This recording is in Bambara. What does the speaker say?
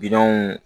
Bilenw